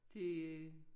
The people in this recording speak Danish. Det